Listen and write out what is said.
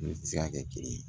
N'o tɛ se ka kɛ kelen ye